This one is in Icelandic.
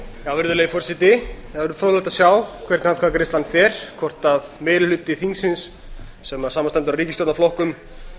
það verður fróðlegt að sjá hvernig atkvæðagreiðslan fer hvort meiri hluti þingsins sem samanstendur af ríkisstjórnarflokkum þar